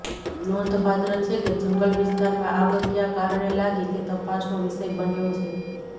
નોંધપાત્ર છેકે જંગલ વિસ્તારમાં આગ ક્યાં કારણે લાગી તે તપાસનો વિષય બન્યો છે